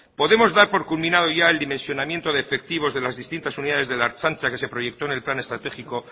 podemos dar por culminado ya el dimensionamiento de efectivos de las distintas unidades de la ertzaintza que se proyectó en el plan estratégico